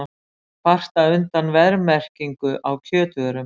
Kvarta undan verðmerkingum á kjötvörum